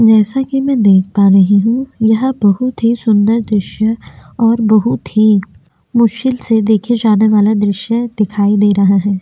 जैसा कि मैं देख पा रही हूँ यह बहुत ही सुंदर दृश्य और बहुत ही मुश्किल से देखे जाना वाला दृश्य दिखाई दे रहा हैं।